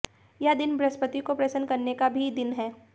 यह दिन बृहस्पति को प्रसन्न् करने का भी दिन है